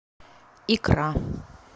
икра